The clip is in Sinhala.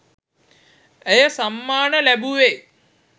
ඇය සම්මාන ලැබුවේ